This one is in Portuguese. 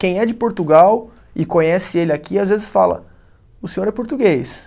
Quem é de Portugal e conhece ele aqui, às vezes fala, o senhor é português.